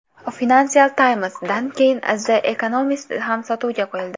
Financial Times’dan keyin The Economist ham sotuvga qo‘yildi.